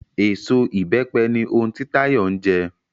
Eso Ìbẹ́pẹ ni ohun ti Táyọ̀ ń jẹ